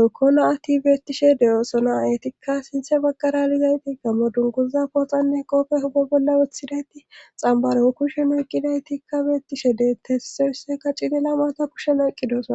ekkona ati beettishe de7oosona etikka sinthe baggara lizayti gammo dunguuza pooxanne qoope huba bolla wothidayti xambaro kushe noyqqidaytikka beettishe detesseysseka cilela maata pushenoeqqi de7osona